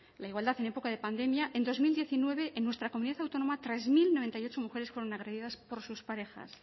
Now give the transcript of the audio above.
la igualdad en época de pandemia en dos mil diecinueve en nuestra comunidad autónoma tres mil noventa y ocho mujeres fueron agredidas por sus parejas